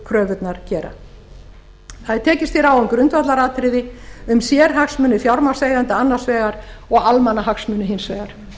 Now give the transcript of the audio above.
evrópukröfurnar gera það er tekist á um grundvallaratriði um sérhagsmuni fjármagnseigenda annars vegar og almannahagsmuni hins vegar